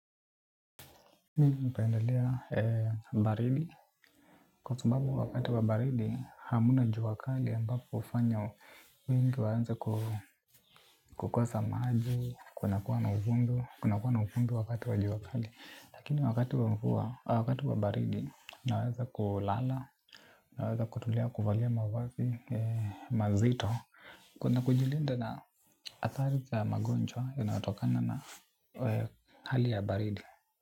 Mimi hupendalea baridi. Kwa sababu wakati wa baridi hamna jua wakali ambapo hufanya wengi waanze kukosa maji, kuna kuwa na uvundo wakati wa jua. Lakini wakati wa baridi naweza kulala, naweza kutulia kuvalia mavazi mazito. Kuna kujilinda na athari za magonjwa yanayotokana na hali ya baridi.